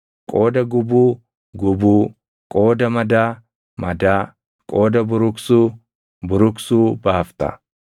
qooda gubuu, gubuu; qooda madaa, madaa; qooda buruqsuu, buruqsuu baafta.